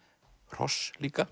hross líka